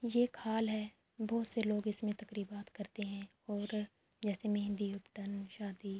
یہ خال ہے بھوت سے لوگ اسمے تخریبات کرتے ہے اور جیسے مہندی، ابٹن، شادی--